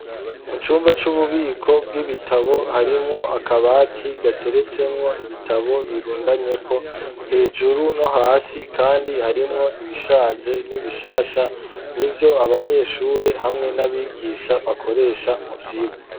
Mu cumba c'ububiko bw'ibitabo harimwo akabati gateretsemwo ibitabo birundanyeho hejuru no hasi kandi harimwo ibishaje n'ibishasha n'ivyo abanyeshure hamwe n'abigisha bakoresha mu vyirwa.